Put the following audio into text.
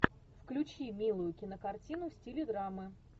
включи милую кинокартину в стиле драмы